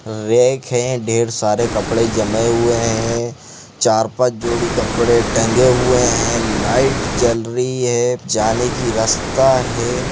Rake है ढेर सारे कपड़े जमे हुए है चार पांच जोड़ी कपड़े टंगे हुए है लाइट जल रही हे जानी की रास्ता है।